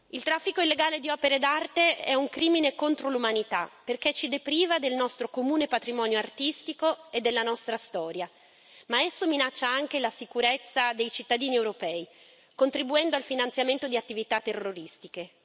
Il traffico illegale di opere d'arte è un crimine contro l'umanità perché ci depriva del nostro comune patrimonio artistico e della nostra storia, ma esso minaccia anche la sicurezza dei cittadini europei, contribuendo al finanziamento di attività terroristiche.